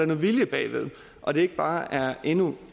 noget vilje bag og det ikke bare er endnu